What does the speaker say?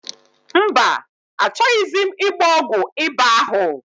Mba, achọghịzi m ịgba ọgwụ ịba ahụ.